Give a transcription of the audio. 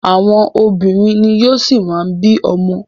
Àwọn obìnrin ni yóò ṣi má bí ọmọ.